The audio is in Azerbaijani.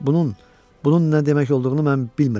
Bunun, bunun nə demək olduğunu mən bilmirəm.